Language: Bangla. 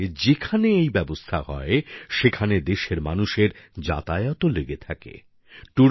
তার সঙ্গে যেখানে এই ব্যবস্থা হয় সেখানে দেশের মানুষের যাতায়াতও লেগে থাকে